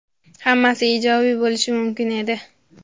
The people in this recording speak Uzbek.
hammasi ijobiy bo‘lishi mumkin edi.